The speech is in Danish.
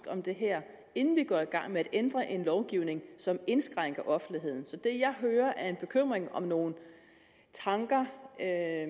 om det her inden vi går i gang med at ændre en lovgivning som indskrænker offentligheden så det jeg hører er en bekymring om nogle tanker jeg er